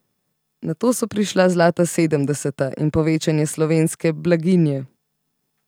Nato so prišla zlata sedemdeseta in povečanje slovenske blaginje.